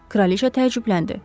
Kraliçə təəccübləndi.